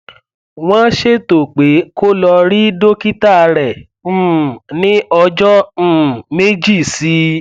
wọn ṣètò pé kó lọ rí dókítà rẹ um ní ọjọ um méjì sí i